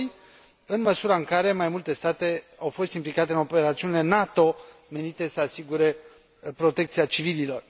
2. în măsura în care mai multe state au fost implicate în operațiunile NATO menite să asigure protecția civililor.